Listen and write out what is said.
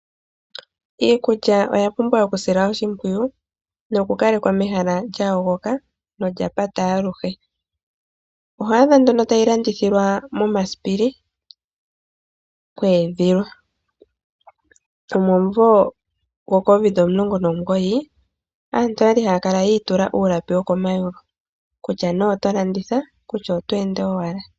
Iikulya oyapumbwa okusilwa oshimpwiyu nokukalekwa mehala lyayogoka nolyapata aluhe, oho adha nduno tayi landithilwa momasipili kweedhilwa, nomumvo gwo Covid 19 aantu oyali haya kala yi itula uulapi wokomayulu kutya nee oto landitha kutya oto ende owala.